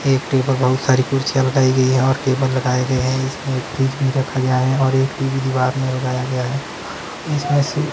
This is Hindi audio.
एक टेबल बहुत सारी कुर्सियां लगाई गई है और टेबल लगाए गए हैं इसमें एक फ्रिज भी रखा गया है और एक टी_वी दीवार में लगाया गया है इसमें से--